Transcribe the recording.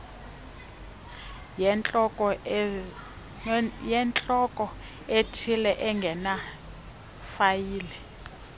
yentloko ethile engenafayile